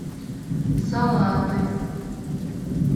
салаты